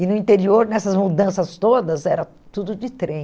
E no interior, nessas mudanças todas, era tudo de trem.